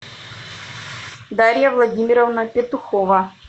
дарья владимировна петухова